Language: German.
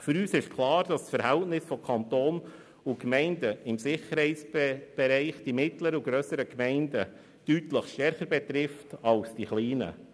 Für uns ist klar, dass das Verhältnis zwischen Kanton und Gemeinden im Sicherheitsbereich die mittleren und grösseren Gemeinden deutlich stärker betrifft als die kleinen.